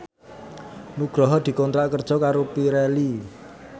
Nugroho dikontrak kerja karo Pirelli